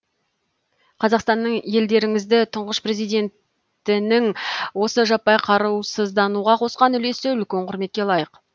қазақстанның елдеріңіздің тұңғыш президентінің осы жаппай қарусыздануға қосқан үлесі үлкен құрметке лайық